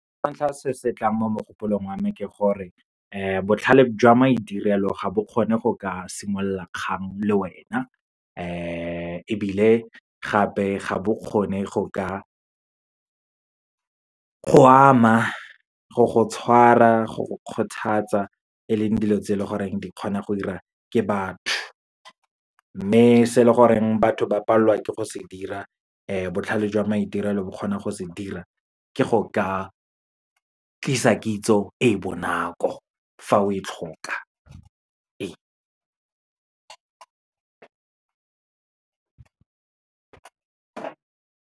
Sa ntlha se se tlang mo mogopolong wa me ke gore, botlhale jwa maitirelo ga bo kgone go ka simolola kgang le wena. Ebile gape, ga bo kgone go ka go ama, go go tshwara, go go kgothatsa e leng dilo tse e leng gore di kgona go diriwa ke batho. Mme se leng gore batho ba palelwa ke go se dira, botlhale jwa maitirelo bo kgona go se dira, ke go ka tlisa kitso e e bonako fa o e tlhoka, ee.